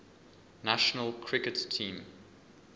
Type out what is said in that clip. national cricket team